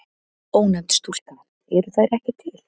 Ónefnd stúlka: Eru þær ekki til?